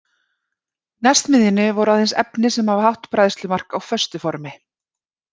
Næst miðjunni voru aðeins efni sem hafa hátt bræðslumark á föstu formi.